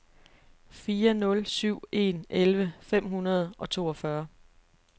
fire nul syv en elleve fem hundrede og toogfyrre